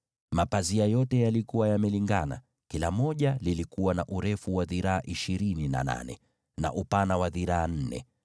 Mapazia yote yalitoshana kwa ukubwa: kila moja lilikuwa na urefu wa dhiraa ishirini na nane, na upana wa dhiraa nne